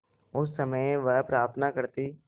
उस समय वह प्रार्थना करती